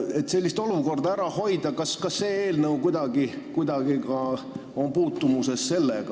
Et sellist olukorda ära hoida, kas see eelnõu seondub kuidagi ka selle teemaga?